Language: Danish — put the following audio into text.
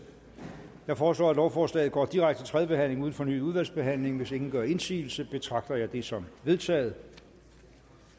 jeg foreslår at lovforslaget går direkte til tredje behandling uden fornyet udvalgsbehandling hvis ingen gør indsigelse betragter jeg det som vedtaget